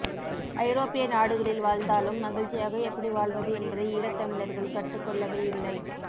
ஐரோப்பிய நாடுகளில் வாழ்ந்தாலும் மகிழ்ச்சியாக எப்படி வாழ்வது என்பதை ஈழத்தமிழர்கள் கற்றுக்கொள்ளவே இல்லை